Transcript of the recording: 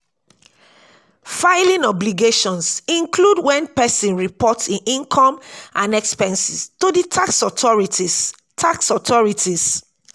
filing obligations include when person report im income and expenses to di tax authorities tax authorities